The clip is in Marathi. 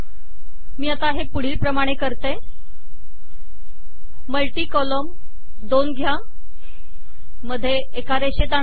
मी आता हे पुढीलप्रमाणे करते मल्टी कॉलम दोन घ्या मध्ये एका रेषेत आणा